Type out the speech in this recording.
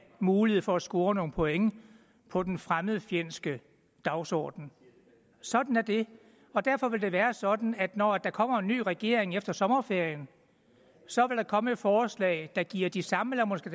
mulighed for at score nogle point på den fremmedfjendske dagsorden sådan er det og derfor vil det være sådan at når der kommer en ny regering efter sommerferien så vil der komme et forslag der giver de samme eller måske